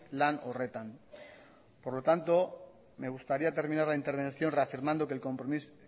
lan horretan por lo tanto me gustaría terminar la intervención reafirmando que el compromiso